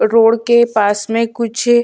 road के पास में कुछ--